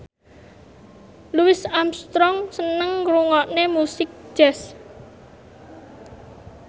Louis Armstrong seneng ngrungokne musik jazz